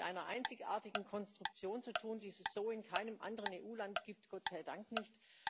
Wir haben es mit einer einzigartigen Konstruktion zu tun, die es so in keinem anderen EU Land gibt Gott sei dank nicht.